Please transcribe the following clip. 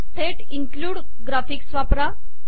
थेट include graphics वापरा